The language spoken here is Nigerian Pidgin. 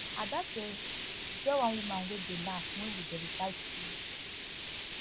ada say e get one woman wey dey laugh wen we dey recite pledge